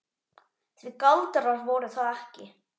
Því galdrar voru það ekki.